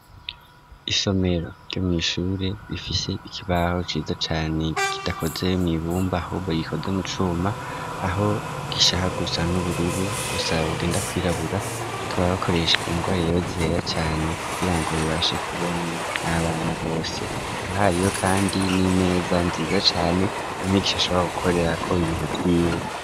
Isomero ryo mwishure rifise ikibaho ciza cane kidakoze mw'ibumba ahubwo gikoze mu cuma aho gishaka gusa n'ubururu gusa bugenda kwirabura tubakoresha ingwa rero zera cane kugirango bibashe kubonwa n'abana bose hakaba hariyo kandi n'imeza nziza cane umwigisha ashobora gukorerako ibintu vyiwe.